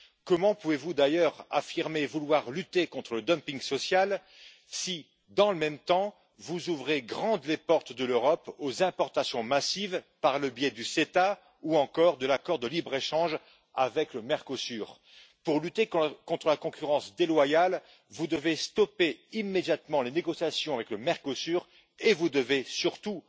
Comment pouvez vous d'ailleurs affirmer vouloir lutter contre le dumping social si, dans le même temps, vous ouvrez grandes les portes de l'Europe aux importations massives par le biais du CETA ou encore de l'accord de libre échange avec le Mercosur? Pour lutter contre la concurrence déloyale, vous devez stopper immédiatement les négociations avec le Mercosur et vous devez surtout